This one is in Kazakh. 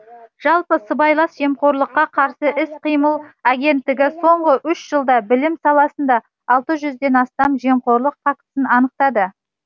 жалпы сыбайлас жемқорлыққа қарсы іс қимыл агенттігі соңғы үш жылда білім саласында алты жүзден астам жемқорлық фактісін анықтады